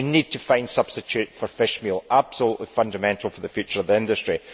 We need to find a substitute for fishmeal this is absolutely fundamental for the future of the industry.